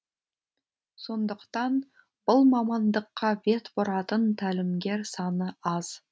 сондықтан бұл мамандыққа бет бұратын тәлімгер саны аз